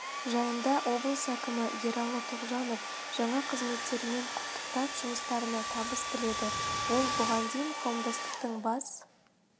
жиында облыс әкімі ералы тоғжанов жаңа қызметтерімен құттықтап жұмыстарына табыс тіледі ол бұған дейін қауымдастықтың бас